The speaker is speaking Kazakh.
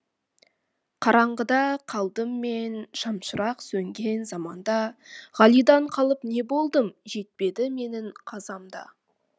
қараңғыда қалдым мен шамшырақ сөнген заманда ғалидан қалып не болдым жетпеді менің қазам да